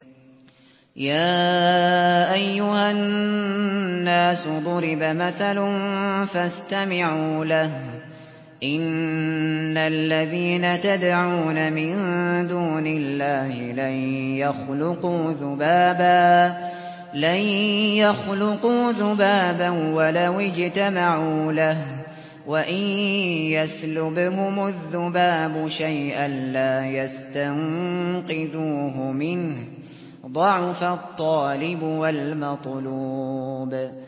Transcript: يَا أَيُّهَا النَّاسُ ضُرِبَ مَثَلٌ فَاسْتَمِعُوا لَهُ ۚ إِنَّ الَّذِينَ تَدْعُونَ مِن دُونِ اللَّهِ لَن يَخْلُقُوا ذُبَابًا وَلَوِ اجْتَمَعُوا لَهُ ۖ وَإِن يَسْلُبْهُمُ الذُّبَابُ شَيْئًا لَّا يَسْتَنقِذُوهُ مِنْهُ ۚ ضَعُفَ الطَّالِبُ وَالْمَطْلُوبُ